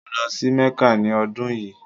Mo lọ sí Mecca ni ọ́dun yíì.